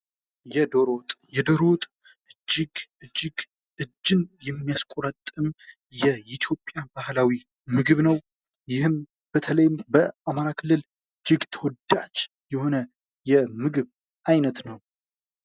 የዶሮ ወጥ እጅግ! እጅግ! እጅን የሚያስቆረጥም! የኢትዮጵያን ባህላዊ ምግብ ነው። በአማራ ክልል እጅግ ተወዳጅ የሆነ የምግብ አይነት ነው።